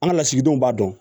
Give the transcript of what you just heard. An ka lasigidenw b'a dɔn